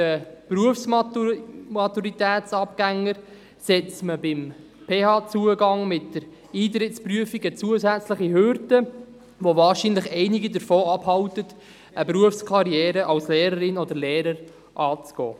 Den Berufsmaturitäts(BMS)-Abgängern setzt man beim PH-Zugang mit der Eintrittsprüfung eine zusätzliche Hürde, welche wahrscheinlich einige davon abhält, eine Berufskarriere als Lehrerin oder Lehrer anzustreben.